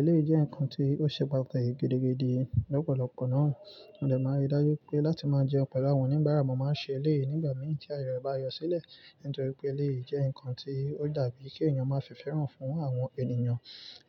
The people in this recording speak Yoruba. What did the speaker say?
Eleyii jẹ́ nǹkan tí ó ṣe pàtàkì gidigidi lọ́pọ̀lọpọ̀ náà. Mo dẹ̀ máa n rí dájú pé láti máa jẹun pẹ̀lú àwọn òníbárà, mo máa ń ṣe ilé nígbà mìíràn tí aye re bá yọ sílẹ̀ nítorí pé eleyii jẹ́ nnkan tí ó dàbí kí ènìyàn máa fifẹ́hàn fún àwọn ènìyàn.